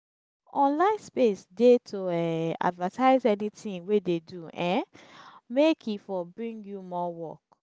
online space de to take um advertise anything wey de do um make e for bring you more work